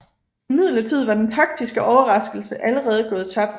Imidlertid var den taktiske overraskelse allerede gået tabt